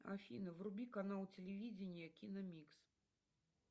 афина вруби канал телевидения киномикс